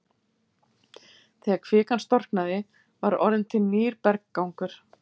Þegar kvikan storknaði var orðinn til nýr berggangur.